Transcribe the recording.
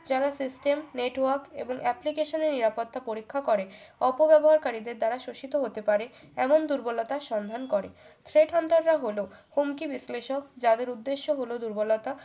যারা system network এবং application এর নিরাপত্তা পরীক্ষা করে অপব্যবহারকারীদের দ্বারা শোষিত হতে পারে এমন দুর্বলতার সন্ধান করে thret hunter রা হলো হুমকি বিশ্লেষক যাদের উদ্দেশ্য হলো দুর্বলতা